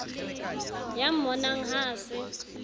ya mmonang ha a se